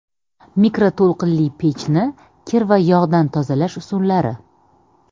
Mikroto‘lqinli pechni kir va yog‘dan tozalash usullari.